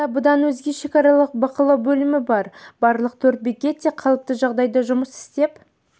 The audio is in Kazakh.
ауданда бұдан өзге шекаралық бақылау бөлімі бар барлық төрт бекет те қалыпты жағдайда жұмыс істеп